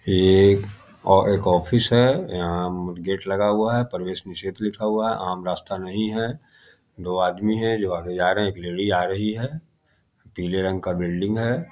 ये एक ऑ एक ऑफिस है यहाँ गेट लगा हुआ है प्रवेश निषेध लिखा हुआ है आम रास्ता नहीं है दो आदमी है जो आगे जा रहे है एक लेडी आ रही है पीले रंग का बिल्डिंग है।